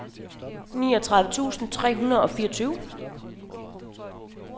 niogtredive tusind tre hundrede og fireogtyve